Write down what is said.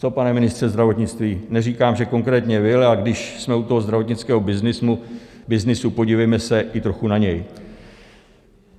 Co, pane ministře zdravotnictví, neříkám, že konkrétně vy, ale když jsme u toho zdravotnického byznysu, podívejme se i trochu na něj.